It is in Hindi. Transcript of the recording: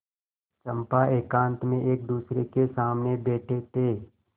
चंपा एकांत में एकदूसरे के सामने बैठे थे